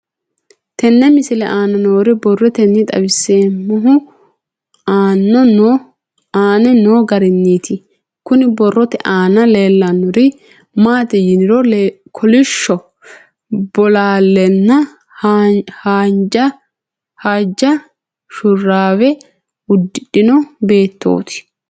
Tenne misile aana noore borroteni xawiseemohu aane noo gariniiti. Kunni borrote aana leelanori maati yiniro kolishsho bolaalena haaja shuuraawe uddidhino beetoti.